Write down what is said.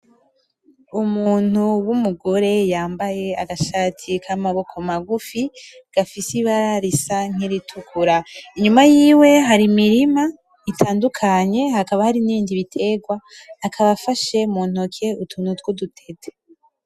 Umuntu w'umugore yambaye agashati k'amaboko magufi gafise ibara risa nk'iritukura, inyuma yiwe hari imirima itandukanye hakaba hari n'ibindi biterwa akaba afashe mu ntoke utuntu twudutete.